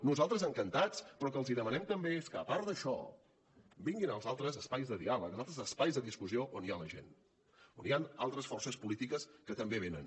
nosaltres encantats però el que els demanem també és que a part d’això vinguin als altres espais de diàleg als altres espais de discussió on hi ha la gent on hi han altres forces polítiques que també venen